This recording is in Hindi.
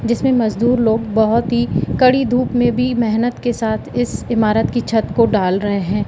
जिसमें मजदूर लोग बहोत ही कड़ी धूप में भी मेहनत के साथ इस इमारत की छत को डाल रहे हैं।